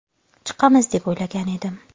Chiqamiz deb o‘ylagan edim.